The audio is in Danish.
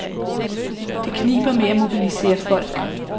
Det kniber med at mobilisere folk.